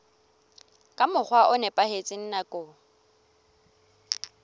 ka mokgwa o nepahetseng nakong